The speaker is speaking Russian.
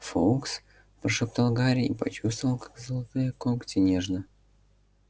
фоукс прошептал гарри и почувствовал как золотые когти нежно